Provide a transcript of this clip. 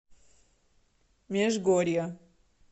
межгорья